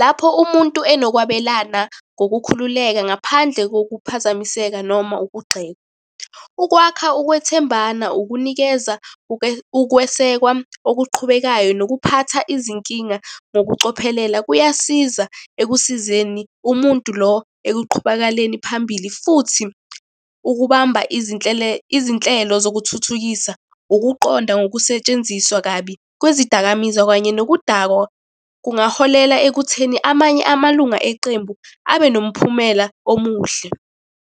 Lapho umuntu enokwabelana ngokukhululeka ngaphandle kokuphazamiseka noma ukugxekwa. Ukwakha ukwethembana, ukunikeza ukwesekwa okuqhubekayo, nokuphatha izinkinga ngokucophelela kuyasiza ekusizeni umuntu lo ekuqhubakaleni phambili, futhi ukubamba izinhlelo zokuthuthukisa. Ukuqonda ngokusetshenziswa kabi kwezidakamizwa kanye nokudakwa, kungaholela ekutheni amanye amalunga eqembu abe nomphumela omuhle.